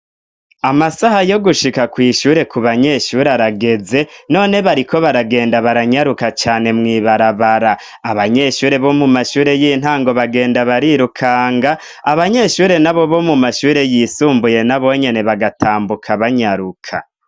Amasaha yo gushika kw'ishure ku banyeshure arageze none bariko baragenda baranyaruka cane mwibarabara abanyeshure bo mu mashure y'intango bagenda barirukanga abanyeshure na bo bo mu mashure yisumbuye nabonyene bagatambuka banyaruka.